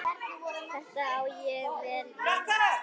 Þetta á vel við hann.